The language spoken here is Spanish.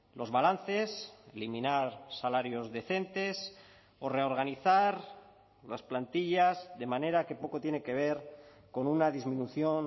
los balances eliminar salarios decentes o reorganizar las plantillas de manera que poco tiene que ver con una disminución